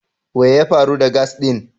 We ya faru da "gas" din?